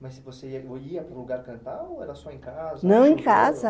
Mas você ia para o lugar cantar ou era só em casa? Não, em casa.